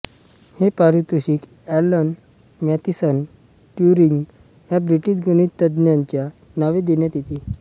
हे पारितोषिक Alan Mathison Turing या ब्रिटिश गणितज्ञाच्या नावे देण्यात येते